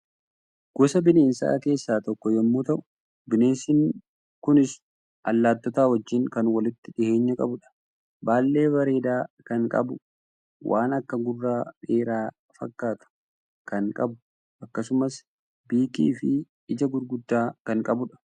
Gosa bineensaa keessaa tokko yommuu ta'u bineensi kunis Allaattota wajjin kan walitti dhiyeenya qabudha. Baallee bareedaa kan qabu, waan akka gurra dheeraa fakkaatu kan qabu, akkasumas biikii fi ija gurguddaa kan qabudha.